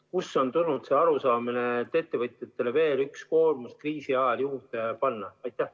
Kust on tulnud see arusaamine, et ettevõtjatele võiks veel ühe koorma kriisi ajal juurde panna?